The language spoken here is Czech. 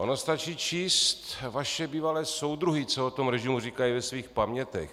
Ono stačí číst vaše bývalé soudruhy, co o tom režimu říkají ve svých pamětech.